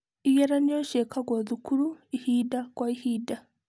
Igeranio ciĩkagwo thukuru ihinda kwa ihinda.